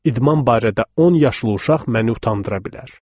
İdman barədə 10 yaşlı uşaq məni utandıra bilər.